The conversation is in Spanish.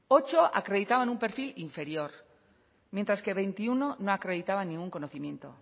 ocho acreditaban un perfil inferior mientras que veintiuno no acreditaban ningún conocimiento